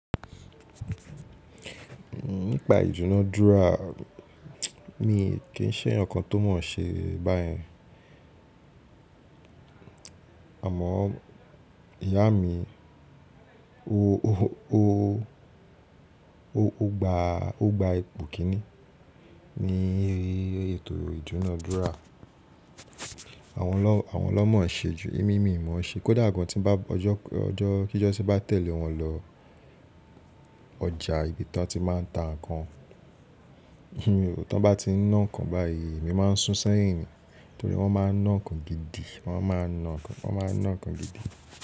Nípa ìduná dúrà mi kì í ṣe yan nǹkan tó mọ̀ ọ́n ṣe báyẹn. Àmọ́ ìyá mi ó gba ipò Kínní ní ètò ìduná dúrà. Àwọn lọ́mọ̀ ọ ṣe ju emímì mọ́n ṣe. Kódà gan tí bá ọjọ́ kí Jọ́sà bá tẹ̀lé wọn lọ ọjà ibi tí wọ́n ti má ń ta nǹkan, tí wọ́n bá ti ń nà nǹkan báyìí mi má ń sún sẹ́yìn ni. Nítorí wọ́n má ń nà nǹkan gidi, wọ́n má ń nà nǹkan, wọ́n má ń nà nǹkan gidi.